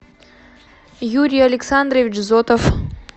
юрий александрович зотов